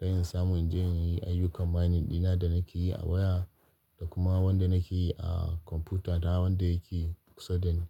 don in samu in je in yi ayyukan mining dina da nake yi a waya da kuma wanda nake yi a kwamfuta na wanda yake kusa da ni.